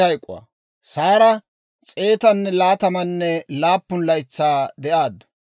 Saara s'eetanne laatamanne laappun laytsaa de'aaddu.